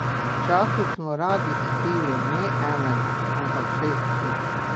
Včasih smo radi spili ne enega, ampak šest piv.